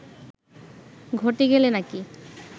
ঘটে গেলে নাকি